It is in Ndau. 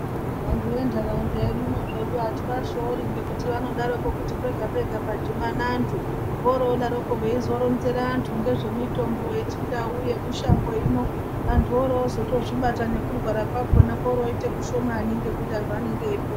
Vantu vendaraunda yedu ino zvedu ativashori ngekuti vanodaroko kuti pega pega padhibana antu vorodaroko veizoronzera antu ngezvemitombo yechindau yemushango hino andu arozozvibata nekurwara kwakona koroite kushomani ngekuti antu anenge eyipona.